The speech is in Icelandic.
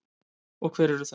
Og hver eru þau?